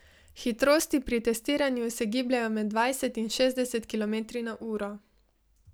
Hitrosti pri testiranju se gibljejo med dvajset in šestdeset kilometri na uro.